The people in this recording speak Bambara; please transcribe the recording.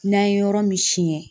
N'an ye yɔrɔ min siɲɛ